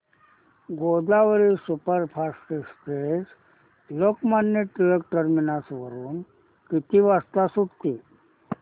Godavari superfast express Lokmanya Tilak terminus वरून किती वाजता सुटते